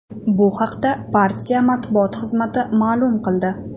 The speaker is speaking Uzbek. Bu haqda partiya matbuot xizmati ma’lum qildi .